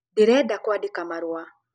Ndĩrenda kwandĩka marũa